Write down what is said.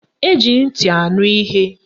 Eji ntị anụ ihe.